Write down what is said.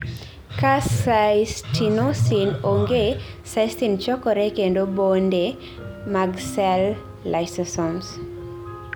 ka cystinosin onge cystine chokore kendo bonde mag sel lysosomes